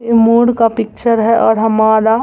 ये मोर का पिक्चर है ओर हमारा --